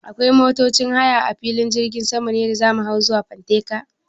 Akwai motocin haya a filin jirgin sama ne da za mu hau zuwa fanteka?